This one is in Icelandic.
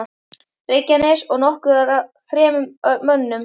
Reykjanes og nokkuð af þremur mönnum.